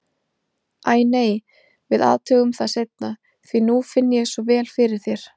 Æ, nei, við athugum það seinna, því nú finn ég svo vel fyrir þér.